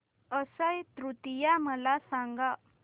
अक्षय तृतीया मला सांगा